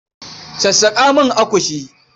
Sassaƙa min akushi.